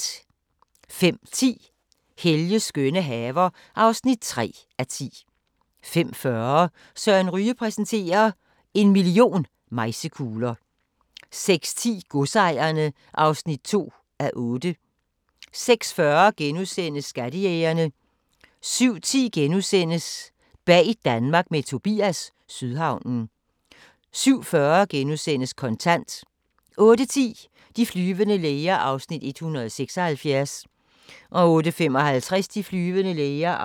05:10: Helges skønne haver (3:10) 05:40: Søren Ryge præsenterer – En million mejsekugler ... 06:10: Godsejerne (2:8) 06:40: Skattejægerne * 07:10: Bag Danmark med Tobias – Sydhavnen * 07:40: Kontant * 08:10: De flyvende læger (176:224) 08:55: De flyvende læger